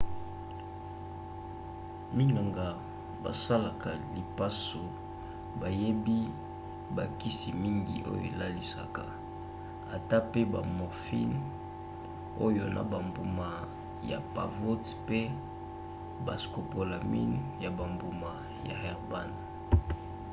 minganga basalaka lipaso bayebi bakisi mingi oyo elalisaka ata pe ba morphine oyo na bambuma ya pavot mpe bascopolamine ya bambuma ya herbane